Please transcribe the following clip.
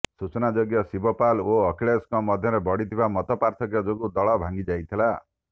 ସୂଚନାଯୋଗ୍ୟ ଶିବପାଲ ଓ ଅଖିଳେଶଙ୍କ ମଧ୍ୟରେ ବଢିଥିବା ମତପାର୍ଥକ୍ୟ ଯୋଗୁଁ ଦଳ ଭାଙ୍ଗି ଯାଇଥିଲା